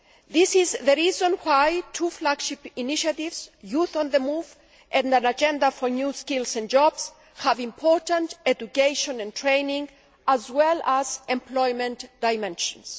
This is the reason why two flagship initiatives, Youth on the move' and An agenda for new skills and jobs', have important education and training as well as employment dimensions.